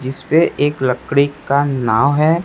जिस पे एक लकड़ी का नाव है।